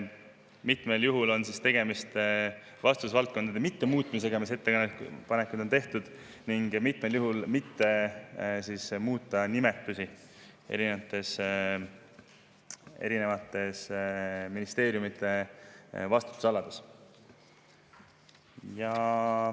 Mitmel juhul on tegemist vastutusvaldkondade mittemuutmisega, nagu on ettepanekuid tehtud, ning mitmel juhul mitte muuta nimetusi eri ministeeriumide vastutusalades.